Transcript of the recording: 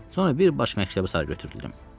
Sonra birbaş məktəbə sarı götürüldüm.